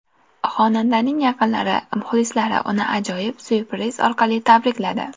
Xonandaning yaqinlari, muxlislari uni ajoyib syurpriz orqali tabrikladi.